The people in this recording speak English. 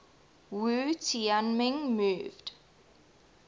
wu tianming moved